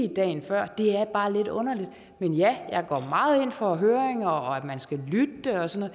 dagen før det er bare lidt underligt men ja jeg går meget ind for høringer og at man skal lytte og sådan